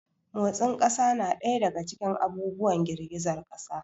Motsin ƙasa na ɗaya daga cikin abubuwan girgizar ƙasa.